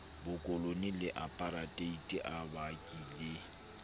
bokolone le apareteite a bakile